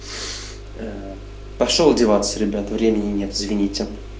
аа пошёл одеваться ребят времени нет извините